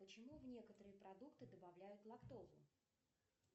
почему в некоторые продукты добавляют лактозу